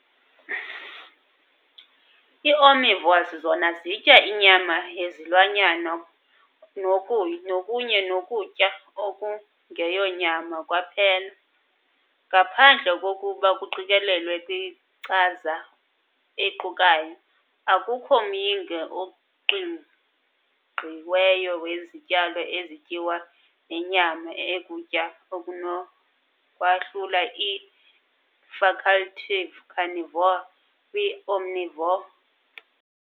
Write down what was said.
Ii-Omnivores zona zitya inyama yezilwanyana kunye nokutya okungeyonyama kwaphela, ngaphandle koku kuqikelela kwinkcaza equkayo, akukho myinge uqingqiweyo wezityalo ezityiwayo nenyama ekukutya onokwahlula ii- facultative carnivore kwii-omnivore.